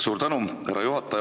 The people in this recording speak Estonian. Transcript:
Suur tänu, härra juhataja!